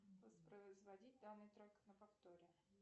воспроизводить данный трек на повторе